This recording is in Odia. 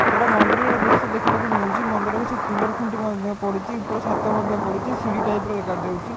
ଗୋଟେ ମନ୍ଦିରର ଦୃଶ୍ୟ ଦେଖିବାକୁ ମିଳୁଚି। ମନ୍ଦିର କିଛି ପିଲର ଖୁଣ୍ଟି ମଧ୍ୟ ପଡ଼ିଚି। ଉପର ଛାତ ମଧ୍ୟ ପଡ଼ିଚି। ସିଡି ଟାଇପ୍ ର ଦେଖା ଯାଉଚି।